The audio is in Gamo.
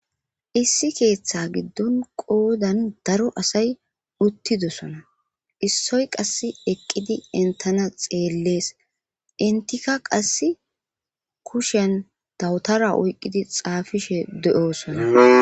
issi keeththa giddon qoodan daro asay uttidosona issoy qass eqqidi entana xeellees intika qasse kushen dawutara oyqqidi xaafishe de7osona